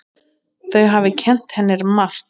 Þau hafi kennt henni margt.